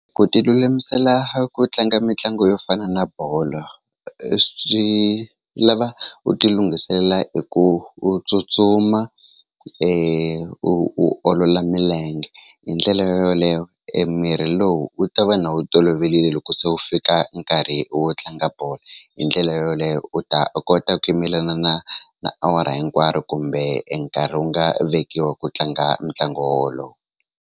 Ku ti lulamisela a ku tlanga mitlangu yo fana na bolo swi lava u ti lunghiselela hi ku u tsutsuma u u olola milenge hi ndlela yo yoleyo e mirhi lowu wu ta va na wu toloverile loko se wu fika nkarhi wo tlanga bolo hi ndlela yoleyo u ta kota ku yimelana na na awara hinkwaro kumbe enkarhi wu nga vekiwa ku tlanga ntlangu wo wolowo.